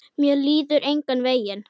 Mér líður engan veginn.